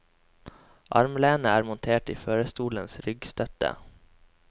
Armlenet er montert i førerstolens ryggstøtte.